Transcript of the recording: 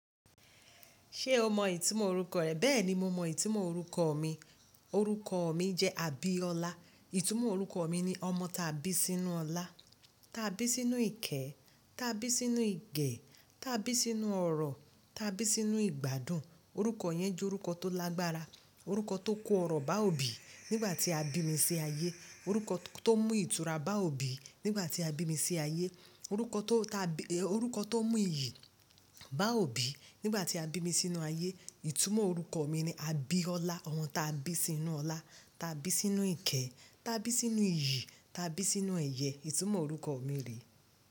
Ṣé o mọ ìtumọ̀ orúkọ rẹ? Bẹ́ẹ̀ni, mo mọ ìtumọ̀ orúkọ mi. Orúkọ mi jẹ́ Abiola. Ìtumọ̀ orúkọ mi ni ọmọ ta bí sínú ọlá, ta bí sínú ìkẹ́, ta bí sínú ìgè, ta bí sínú ọrọ̀, ta bí sínú ìgbádùn. Orúkọ yẹn jẹ́ orúkọ tó lágbára, orúkọ tó kó ọrọ̀ bá òbí nígbà tí a bí mi sí ayé. Orúkọ tó mú ìtura bá òbí nígbà tí a bí mi sí ayé. Orúkọ tó mú iyì bá òbí nígbà tí a bí mi sínú ayé. Ìtumọ̀ orúkọ mi ni Abiola, ọmọ ta bí sínú ọlá, ta bí sínú ìkẹ́, ta bí sínú iyì, ta bí sínú ẹyẹ́. Ìtumọ̀ orúkọ mi rè.